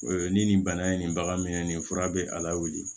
Ni nin bana ye nin bagan minɛ nin ye fura bɛ a lawuli